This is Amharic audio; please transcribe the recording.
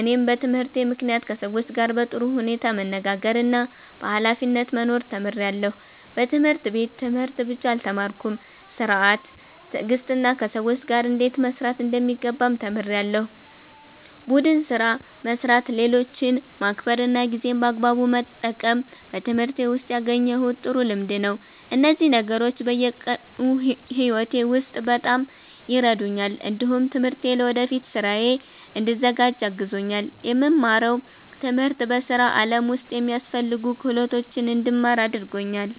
እኔም በትምህርቴ ምክንያት ከሰዎች ጋር በጥሩ ሁኔታ መነጋገርና በኃላፊነት መኖር ተምሬያለሁ። በትምህርት ቤት ትምህርት ብቻ አልተማርኩም፤ ሥርዓት፣ ትዕግስትና ከሰዎች ጋር እንዴት መስራት እንደሚገባም ተምሬያለሁ። ቡድን ስራ መስራት፣ ሌሎችን ማክበር እና ጊዜን በአግባቡ መጠቀም በትምህርቴ ውስጥ ያገኘሁት ጥሩ ልምድ ነው። እነዚህ ነገሮች በየቀኑ ሕይወቴ ውስጥ በጣም ይረዱኛል። እንዲሁም ትምህርቴ ለወደፊት ሥራዬ እንድዘጋጅ አግዞኛል። የምማረው ትምህርት በሥራ ዓለም ውስጥ የሚያስፈልጉ ክህሎቶችን እንድማር አድርጎኛል።